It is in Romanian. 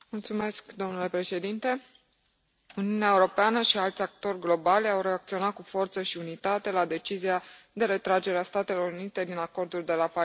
Domnule președinte, Uniunea Europeană și alți actori globali au reacționat cu forță și unitate la decizia de retragere a Statelor Unite din Acordul de la Paris.